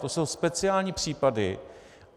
To jsou speciální případy.